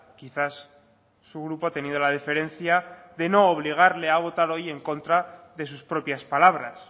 quizás su grupo ha tenido la deferencia de no obligarle a votar hoy en contra de sus propias palabras